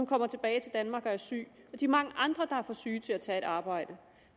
kommet tilbage til danmark og er syg og de mange andre der er for syge til at tage et arbejde